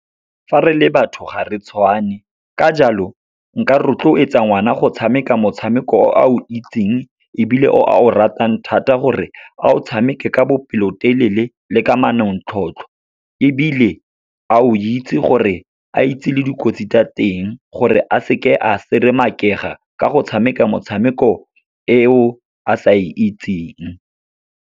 Fa re le batho gare tshwane, ka jalo nka rotloetsa ngwana go tshameka motshameko o a o itseng, ebile o a o ratang thata, gore a o tshameke ka bopelotelele le ka manontlhotlho. Ebile, a o itse gore a itse le dikotsi tsa teng, gore a se ke a seermaak-ega ka go tshameka motshameko eo a sa e itseng.